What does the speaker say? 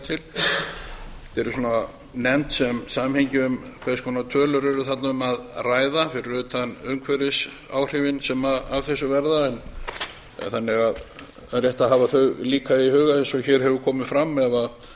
til þetta eru svona nefnd sem samhengi um hvers konar tölur er þarna um að ræða fyrir utan umhverfisáhrifin sem af þessu verða en það er rétt að hafa þau líka í huga eins og hér hefur komið fram ef svona